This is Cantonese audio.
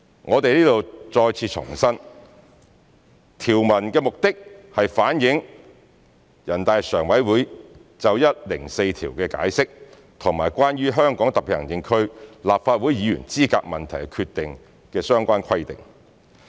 我們在此再次重申，條文旨在反映全國人民代表大會常務委員會《解釋》及《關於香港特別行政區立法會議員資格問題的決定》的相關規定。